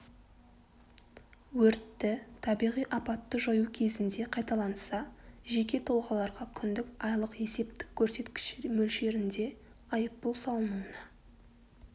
өртті табиғи апатты жою кезінде қайталанса жеке тұлғаларға күндік айлық есептік көрсеткіш мөлшерінде айыппұл салынуына